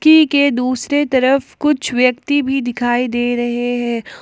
के दूसरे तरफ कुछ व्यक्ति भी दिखाई दे रहे है।